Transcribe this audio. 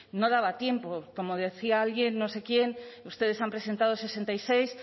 no daba tiempo como decía alguien no sé quién ustedes han presentado sesenta y seis